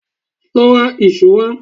Lọ ra ìṣó wá.